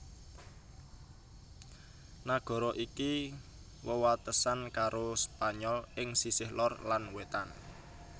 Nagara iki wewatesan karo Spanyol ing sisih lor lan wétan